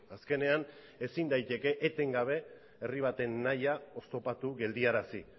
azkenean ezin daiteke etengabe herri baten nahia oztopatu geldiarazi